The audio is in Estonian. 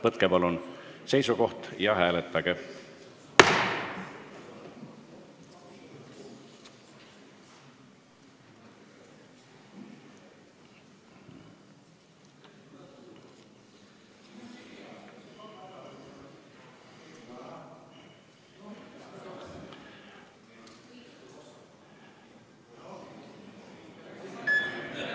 Võtke palun seisukoht ja hääletage!